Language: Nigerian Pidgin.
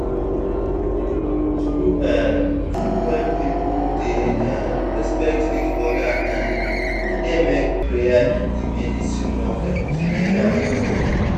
true um truewhen people dey um respect each other um e dey make prayer and medicine work[um]together well well.